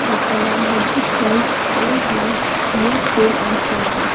जिसका नाम है book world old and new sell and purchase --